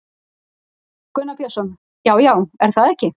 Gunnar Björnsson: Já, já, er það ekki?